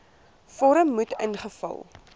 vorm moet ingevul